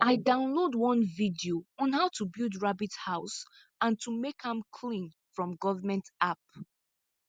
i download one video on how to build rabbit house and to make am clean from government app